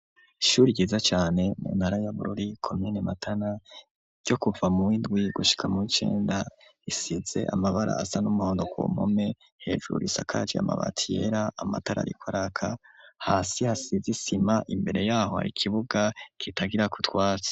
Ishuri ryiza cane mu ntara yabururi komine matana ryo kuva mu windwi gushika mu W' icenda isize amabara asa n'umuhondo, kumpome, hejuru risakaje amabati yera, amatara rikoraka, hasi hasize isima, imbere yaho harikibuga kitagira kutwatsi.